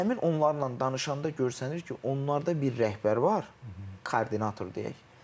Həmin onlarla danışanda görsənir ki, onlarda bir rəhbər var, koordinator deyək.